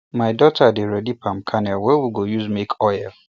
my daughter dey help ready palm kernel wey we go use make oil